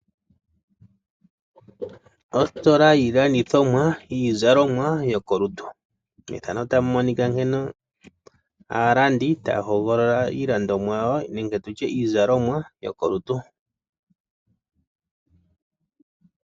Ositola yiilandithomwa , yiizalomwa yokolutu. Methano otamu nkene aalandi taya hogolola iizalomwa nenge iilandithomwa yokolutu.